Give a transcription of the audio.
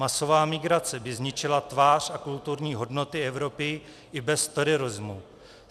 Masová migrace by zničila tvář a kulturní hodnoty Evropy i bez terorismu.